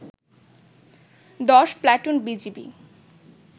১০ platoon BGB